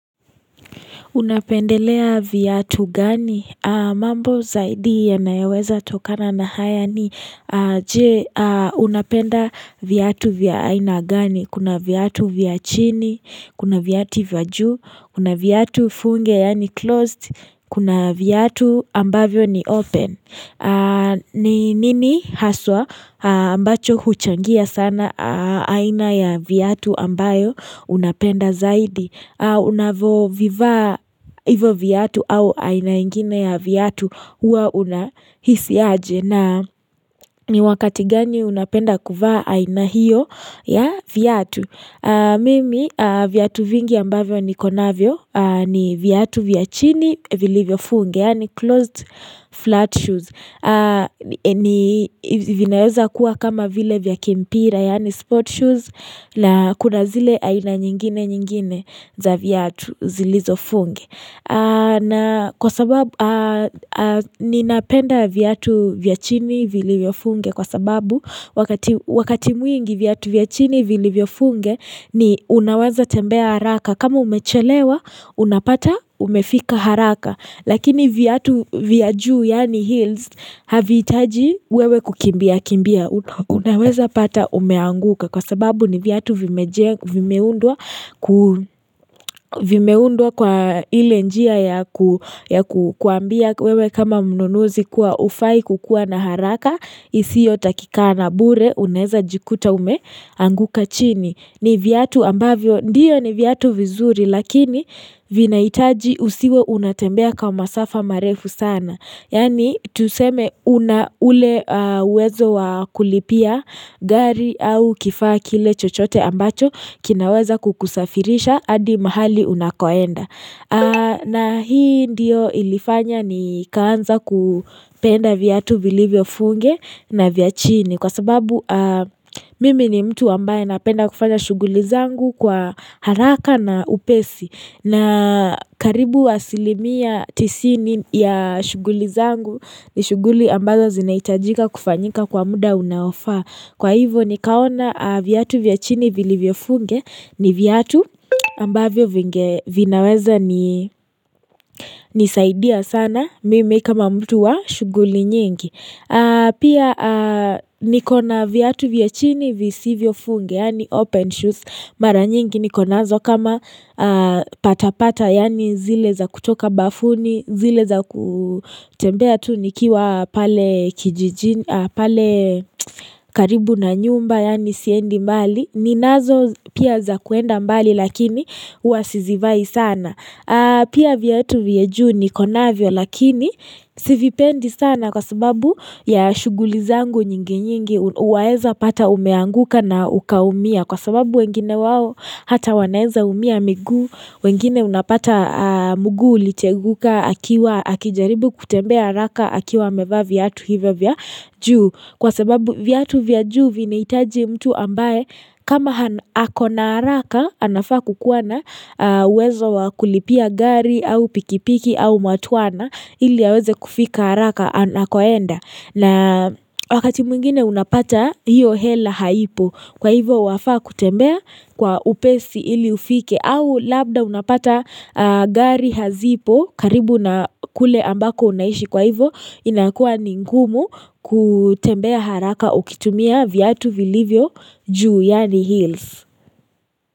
Unapendelea viatu gani? Mambo zaidi ya nayaweza tokana na haya ni je unapenda viatu vya aina gani? Kuna viatu vya chini? Kuna viati vajuu. Kuna viatu funge yani closed? Kuna viatu ambavyo ni open? Ni nini haswa ambacho huchangia sana aina ya viatu ambayo unapenda zaidi. Unavo viva hivo viatu au aina ingine ya viatu huwa unahisi aje na wakati gani unapenda kuvaa aina hiyo ya viyatu Mimi viatu vingi ambayo ni konavyo ni viatu vya chini vilivyo funge, yani closed flat shoes ni vinayoza kuwa kama vile vyakimpira Yani sport shoes na kuna zile ayina nyingine nyingine za vyatu zilizo funge na kwa sababu ni napenda vyatu vyachini vilivyo funge kwa sababu Wakati mwingi viatu vyachini vilivyo funge ni unawaza tembea haraka kama umechelewa Unapata umefika haraka Lakini viatu vya juu yani hills Havitaji wewe kukimbia kimbia Unaweza pata umeanguka Kwa sababu ni viatu vimeundua Vimeundua kwa ile njia ya kuambia wewe kama mnunuzi kuwa hufai kukuwa na haraka isio takikana bure unaeza jikuta umeanguka chini ni viatu ambavyo Ndiyo ni viatu vizuri Lakini vinaitaji usiwe unatembea kama safa marefu sana Yani tuseme una ule wezo wa kulipia gari au kifaa kile chochote ambacho kinaweza kukusafirisha adi mahali unakoenda na hii ndiyo ilifanya ni kawanza kupenda viatu bilivyo funge na viachini Kwa sababu mimi ni mtu ambaye napenda kufanya shughuli zangu kwa haraka na upesi na karibu wa asilimi ya tisini ya shughuli zangu ni shuguli ambazo zinaitajika kufanyika kwa muda unaofaa Kwa hivo ni kaona viatu vya chini vili vyofunge ni vyatu ambavyo vinaweza nisaidia sana mimi kama mtu wa shuguli nyingi Pia nikona viatu vye chini visivyo funge yani open shoes Mara nyingi nikonazo kama patapata yani zile za kutoka bafuni zile za kutembea tu nikiwa pale karibu na nyumba yani siendi mbali ninazo pia za kuenda mbali lakini uwasizivai sana Pia viatu vya juu ni konavyo lakini sivipendi sana kwa sababu ya shughulizangu nyingi nyingi uwaeza pata umeanguka na ukaumia kwa sababu wengine wawo hata wanaeza umia miguu wengine unapata mguu uli cheguka akiwa akijaribu kutembea raka akiwa meva vyatu hivya vyaju Kwa sababu viatu vya juu vinainaitaji mtu ambaye kama hako na haraka anafaa kukuwana wezo wa kulipia gari au pikipiki au matuana ili yaweze kufika haraka anakoenda. Na wakati mwingine unapata hiyo hela haipo kwa hivo wafaa kutembea kwa upesi ili ufike au labda unapata gari hazipo karibu na kule ambako unaishi kwa hivo inakua ningumu kutembea haraka ukitumia viatu vilivyo juu yani hills.